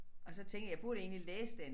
Og så tænker jeg burde egentlig læse den